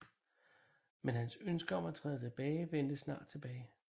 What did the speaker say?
Men hans ønske om at træde tilbage vendte snart tilbage